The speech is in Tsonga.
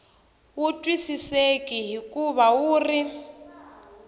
wu twisiseki hikuva wu ri